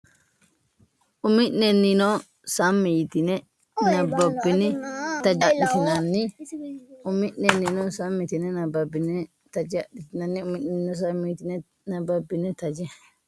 Umi’nennino sammi yitine nab- babbine taje adhitinanni Umi’nennino sammi yitine nab- babbine taje adhitinanni Umi’nennino sammi yitine nab- babbine taje.